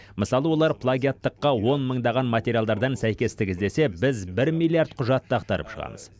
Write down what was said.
мысалы олар плагиаттыққа он мыңдаған материалдардан сәйкестік іздесе біз бір миллиард құжатты ақтарып шығамыз